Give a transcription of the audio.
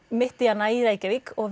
mitt í hana í Reykjavík og